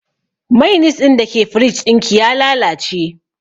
Mainis ɗin da ke firij ɗin ki ya lalace